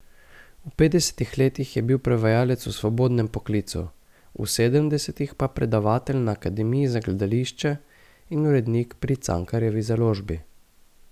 V petdesetih letih je bil prevajalec v svobodnem poklicu, v sedemdesetih pa predavatelj na akademiji za gledališče in urednik pri Cankarjevi založbi.